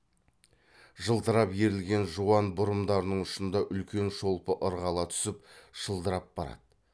жылтырап ерілген жуан бұрымдарының ұшында үлкен шолпы ырғала түсіп шылдырап барады